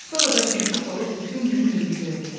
Sonra da şilküd olub bütün günü mürgüdəyürlər.